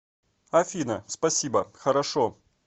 афина спасибо хорошо